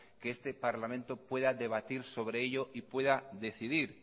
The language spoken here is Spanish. que este parlamento pueda debatir sobre ello y pueda decidir